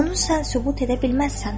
Onun sən sübut edə bilməzsən.